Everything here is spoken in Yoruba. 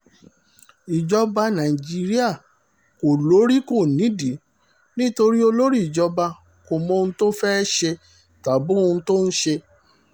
ìjọba nàìjíríà kò lórí kò nídìí nítorí olórí ìjọba kò mọ ohun tó fẹ́ẹ́ ṣe tàbí ohun tó ń ṣe